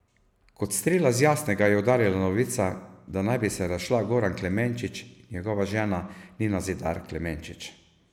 Kot strela z jasnega je udarila novica, da naj bi se razšla Goran Klemenčič in njegova žena Nina Zidar Klemenčič.